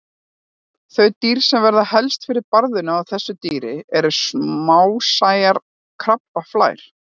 Þau dýr sem verða helst fyrir barðinu á þessu dýri eru smásæjar krabbaflær.